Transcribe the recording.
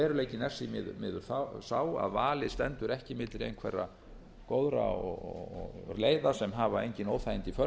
veruleikinn er því miður sá að valið stendur ekki milli einhverra góðra leiða sem hafa engin óþægindi í för með